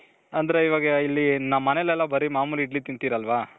ಅಂದ್ರೆ ಇವಾಗ ಇಲ್ಲಿ ನಮ್ ಮನೇಲೆಲ್ಲ ಬರಿ ಮಾಮೂಲಿ ಇಡ್ಲಿ ತಿಂತಿರಲ್ವ .